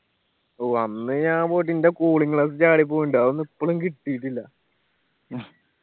ഓ അന്ന് ഞാൻ പോയിട്ട് ഇന്റെ cooling glass ചാടിപ്പോയ്ണ്ട്‌ അതൊന്നും ഇപ്പോളും കിട്ടിയിട്ടില്ല